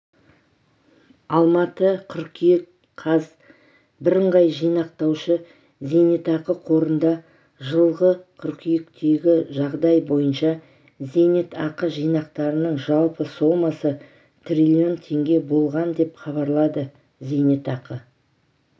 алматы қыркүйек қаз бірыңғай жинақтаушы зейнатақы қорында жылғы қыркүйектегі жағдай бойынша зейнетақы жинақтарының жалпы сомасы трлн теңге болған деп хабарлады зейнетақы